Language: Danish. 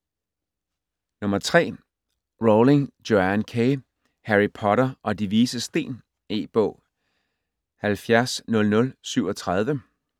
Rowling, Joanne K.: Harry Potter og De Vises Sten E-bog 700037